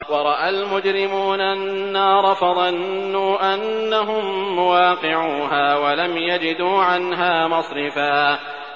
وَرَأَى الْمُجْرِمُونَ النَّارَ فَظَنُّوا أَنَّهُم مُّوَاقِعُوهَا وَلَمْ يَجِدُوا عَنْهَا مَصْرِفًا